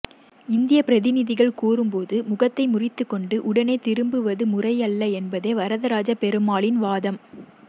இந்திய பிரதிநிதிகள் கூறும்போது முகத்தை முறித்துக்கொண்டு உடனே திரும்புவது முறையல்ல என்பதே வரதராஜப் பெருமாளின் வாதம்